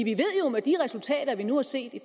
med de resultater vi nu har set i